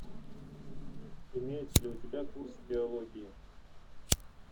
имеется ли у тебя курс биологии